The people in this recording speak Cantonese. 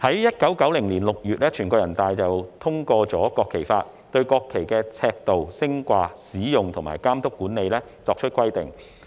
1990年6月，全國人民代表大會通過《國旗法》，對國旗的尺度、升掛、使用和監督管理等作出規定。